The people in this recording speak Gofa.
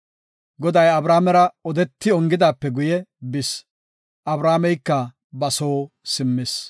Goday Abrahaamera odetidi ongidaape guye bis; Abrahaameyka ba soo simmis.